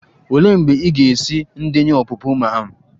Olee mgbe ị ga-esi ndenye ọpụpụ ma'am?